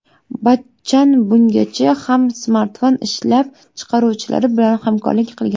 Bachchan bungacha ham smartfon ishlab chiqaruvchilari bilan hamkorlik qilgan.